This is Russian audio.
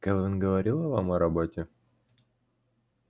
кэлвин говорила вам о роботе